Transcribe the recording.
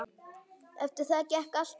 Eftir það gekk allt betur.